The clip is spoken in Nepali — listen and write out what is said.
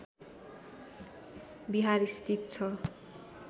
विहार स्थित छ